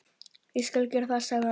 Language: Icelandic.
Ég skal gera það, sagði hann.